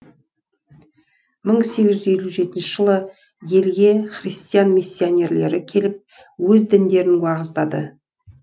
мың сегіз елу жетінші жылы елге христиан миссонерлері келіп өз діндерін уағыздады